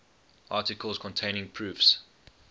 articles containing proofs